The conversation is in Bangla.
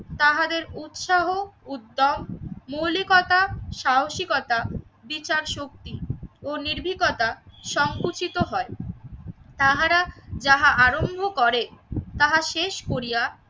তাহাদের উৎসাহ, উদ্যম, মৌলিকতা, সাহসিকতা, বিচারশক্তি ও নির্ভিকতা সংকুচিত হয়। তাহারা যাহা আরম্ভ করে তাহা শেষ করিয়া